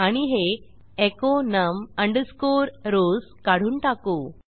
आणि हे echo num rows काढून टाकू